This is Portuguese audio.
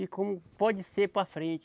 E como pode ser para frente.